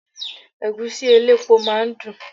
Ẹ̀gúsí elépo máa ń dùn.